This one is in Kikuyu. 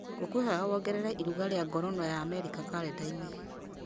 ngũkwĩhoya wongerere iruga rĩa ngorono ya amerika karenda-inĩ